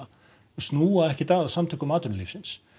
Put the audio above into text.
snúa ekkert að Samtökum atvinnulífsins